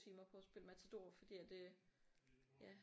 Timer på at spille Matador fordi at øh ja